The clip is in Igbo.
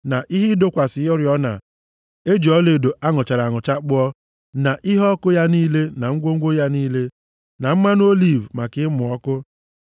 na ihe ịdọkwasị oriọna e ji ọlaedo a nụchara anụcha kpụọ, na iheọkụ ya niile na ngwongwo ya niile, na mmanụ oliv maka ịmụ ọkụ,